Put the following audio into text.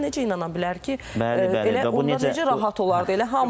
Yəni insan necə inana bilər ki, belə o necə rahat olardı?